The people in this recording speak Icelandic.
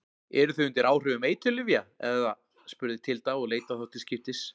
Eruð þið undir áhrifum eiturlyfja, eða spurði Tilda og leit á þá til skiptis.